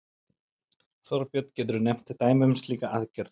Þorbjörn: Geturðu nefnt dæmi um slíka aðgerð?